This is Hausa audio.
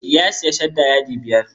Ya sayi shadda yadi biyar.